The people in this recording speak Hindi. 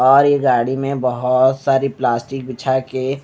और ये गाड़ी में बहोत सारी प्लास्टिक बिछा के--